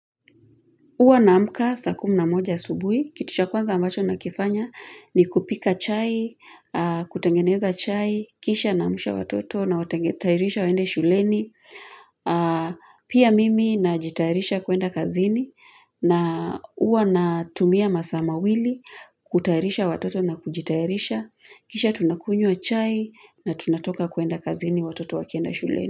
Uwa na mka sakumna moja subuhi, kitusha kwanza ambacho na kifanya ni kupika chai, kutengeneza chai, kisha namusha watoto na watairisha waende shuleni, pia mimi na jitairisha kuenda kazini, na uwa na tumia masama wili, kutairisha watoto na kujitairisha, kisha tunakunye wa chai na tunatoka kuenda kazini watoto wa kienda shuleni.